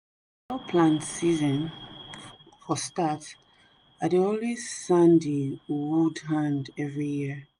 before plant season for start i dey always sand the wood hand every year